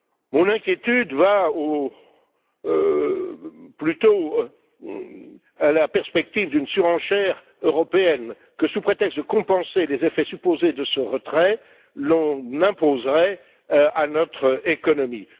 Mon inquiétude porte plutôt sur la perspective d'une surenchère européenne que, sous prétexte de compenser les effets supposés de ce retrait, l'on imposerait à notre économie.